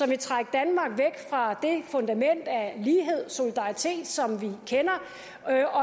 vil trække danmark væk fra det fundament af lighed og solidaritet som vi kender